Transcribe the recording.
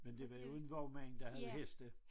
Men det var jo en vognmand der havde heste